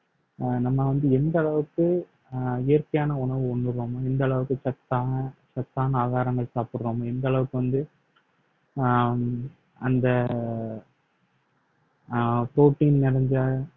அஹ் நம்ம வந்து எந்த அளவுக்கு அஹ் இயற்கையான உணவு உண்ணுறமோ எந்த அளவுக்கு சத்தான சத்தான ஆகாரங்கள் சாப்பிடுறோம் எந்த அளவுக்கு வந்து ஆஹ் அந்த ஆஹ் protein நிறைஞ்ச